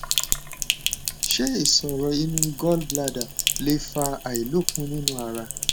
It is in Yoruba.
ṣé ìṣòro inú gall bladder lè fa àìlokun nínú ara